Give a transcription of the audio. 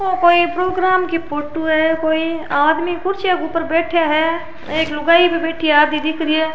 ओ कोई प्रोग्राम की फोटो है कोई आदमी कुर्सियां के ऊपर बैठया है एक लुगाई भी बैठी है आधी दिख री है।